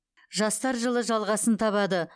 жастар жылы жалғасын табады